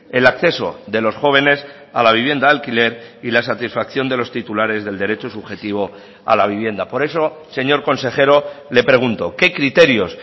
el acceso de los jóvenes a la vivienda de alquiler y la satisfacción de los titulares del derecho subjetivo a la vivienda por eso señor consejero le pregunto qué criterios